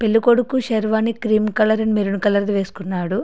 పెళ్ళికొడుకు sherwani cream colour and maroon colour వేసుకున్నాడు.